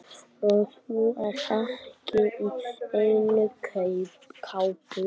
Og þú ert ekki í neinni kápu.